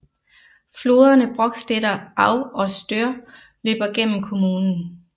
Floderne Brokstedter Au og Stör løber gennem kommunen